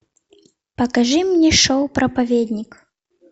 покажи мне шоу проповедник